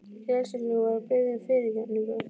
En geðsjúklingurinn var að biðja um fyrirgefningu.